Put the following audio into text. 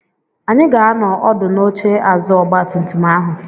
Anyị ga-anọ ọdụ n'oche azụ ọgba tum tum ahụ.